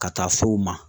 Ka taa fo ma